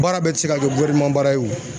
Baara bɛ tɛ se ka kɛ baara ye o.